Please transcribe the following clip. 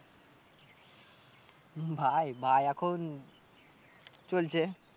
ভাই ভাই এখন চলছে।